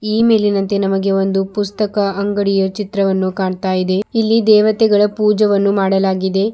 ಈ ಮೇಲಿನಂತೆ ನಮಗೆ ಒಂದು ಪುಸ್ತಕ ಅಂಗಡಿಯ ಚಿತ್ರವನ್ನು ಕಾಣ್ತಾ ಇದೆ ಇಲ್ಲಿ ದೇವತೆಗಳ ಪೂಜೆವನ್ನು ಮಾಡಲಾಗಿದೆ.